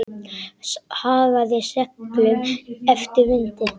Hagaði seglum eftir vindi.